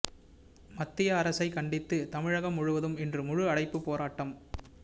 மத்திய அரசைக் கண்டித்து தமிழகம் முழுவதும் இன்று முழு அடைப்பு போராட்டம்